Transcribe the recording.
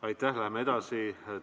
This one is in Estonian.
Aitäh, läheme edasi!